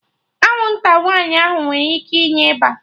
Anwụnta nwaanyị nwere ike inye ịba